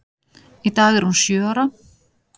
Í dag er hún sjö ára.